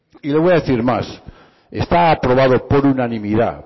y le voy a decir más está aprobado por unanimidad